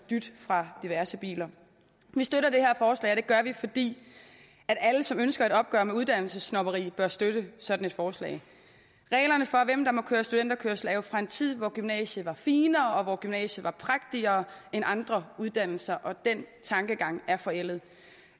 dyt fra diverse biler vi støtter det her forslag og det gør vi fordi alle som ønsker et opgør med uddannelsessnobberi bør støtte sådan et forslag reglerne for hvem der må køre studenterkørsel er jo fra en tid hvor gymnasiet var finere og hvor gymnasiet var prægtigere end andre uddannelser og den tankegang er forældet